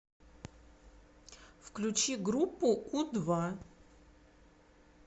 включи группу у два